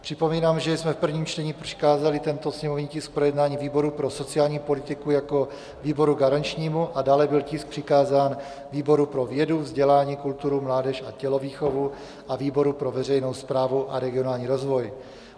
Připomínám, že jsme v prvním čtení přikázali tento sněmovní tisk k projednání výboru pro sociální politiku jako výboru garančnímu a dále byl tisk přikázán výboru pro vědu, vzdělání, kulturu, mládež a tělovýchovu a výboru pro veřejnou správu a regionální rozvoj.